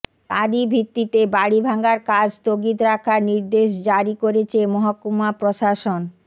তারই ভিত্তিতে বাড়ি ভাঙার কাজ স্থগিত রাখার নির্দেশ জারি করেছে মহকুমা প্রশাসন